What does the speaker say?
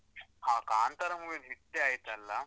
ಹಾ ಕಾಂತಾರ movie ಒಂದ್ hit ಆಯ್ತಲ್ಲ.